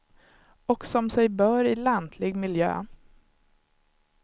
Och som sig bör i lantlig miljö.